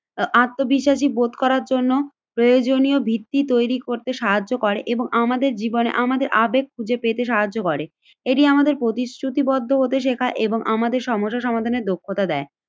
আত্মবিশ্বাসী বোধ করার জন্য প্রয়োজনীয় ভিত্তি তৈরি করতে সাহায্য করে এবং আমাদের জীবনে আমাদের আবেগ খুঁজে পেতে সাহায্য করে। এটি আমাদের প্রতিশ্রুতিবদ্ধ হতে শেখায় এবং আমাদের সমস্যার সমাধানের দক্ষতা দেয়।